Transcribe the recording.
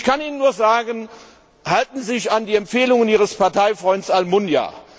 Ich kann Ihnen nur sagen Halten Sie sich an die Empfehlungen Ihres Parteifreunds Almunia.